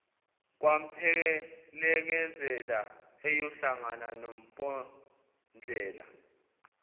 kwamphelekezele eyohlangana nompondlela